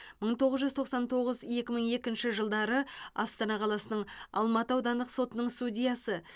мың тоғыз жүз тоқсан тоғыз екі мың екінші жылдары астана қаласының алматы аудандық сотының судьясы